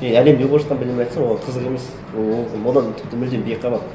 не әлемде болып жатқан бірдеңе айтсаң оған қызық емес ол одан тіпті мүлдем бейхабар